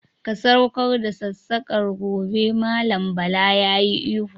"Ka saukar da sassaƙar, ggone Mallam Bala yayi ihu.